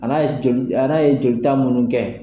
A k'a ye joli a n'a ye joli ta minnu kɛ.